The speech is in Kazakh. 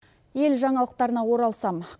ел жаңалықтарына оралсам